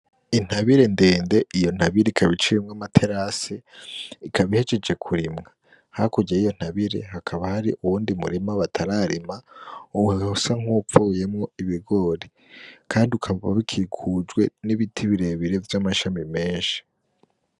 Intabire ndende, iyo ntabire ikaba iciyemwo amaterase, ikaba ihejeje kurimwa, hakurya y'iyo ntabire hakaba hari uwundi murima batararima usa nkuwuvuyemwo ibigori, kandi ukaba ukikujwe n'ibiti birebire vy'amashami menshi.